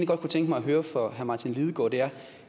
godt kunne tænke mig at høre fra herre martin lidegaard er